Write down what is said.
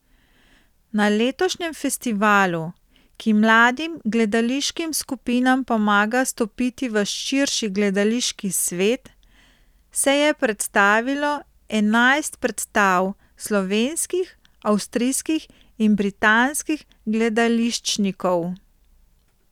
Na letošnjem festivalu, ki mladim gledališkim skupinam pomaga stopiti v širši gledališki svet, se je predstavilo enajst predstav slovenskih, avstrijskih in britanskih gledališčnikov.